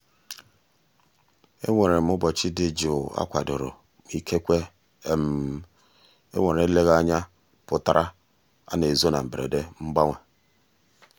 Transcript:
enwere m ụbọchị dị jụụ akwadoro ma ikekwe enwere eleghị anya pụtara ana ezo na mberede mgbanwe.